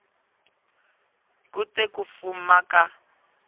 ku te ku fuma ka